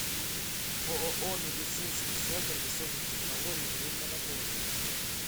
ооо медицинский центр высоких технологий время работы